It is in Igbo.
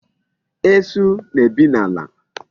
Esu na-ebi n'ala.